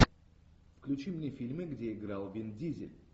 включи мне фильмы где играл вин дизель